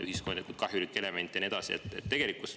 … ühiskondlikult kahjulik element ja nii edasi.